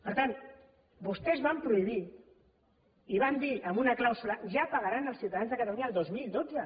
per tant vostès van prohibir i van dir en una clàusula ja pagaran els ciutadans de catalunya el dos mil dotze